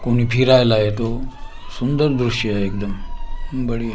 कुणी फिरायला येतो सुंदर दृश्य आहे एकदम बढीया--